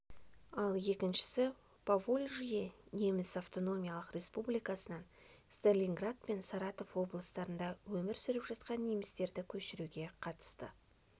ал екіншісі поволжье неміс автономиялық республикасынан сталинград пен саратов облыстарында өмір сүріп жатқан немістерді көшіруге қатысты